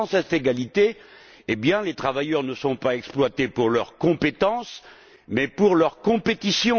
Sans cette égalité, les travailleurs ne sont pas exploités pour leurs compétences mais pour leur compétition.